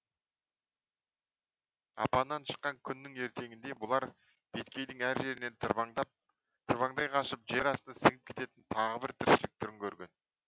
апаннан шыққан күннің ертеңінде бұлар беткейдің әр жерінен тырбаңдай қашып жер астына сіңіп кететін тағы бір тіршілік түрін көрген